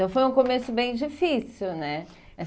Então foi um começo bem difícil, né?